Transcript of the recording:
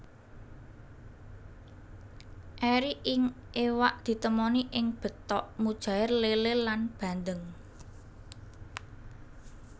Eri ing iwak ditemoni ing betok mujair lélé lan bandeng